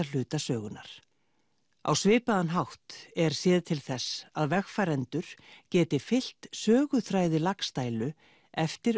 hluta sögunnar á svipaðan hátt er séð til þess að vegfarendur geti fylgt söguþræði Laxdælu eftir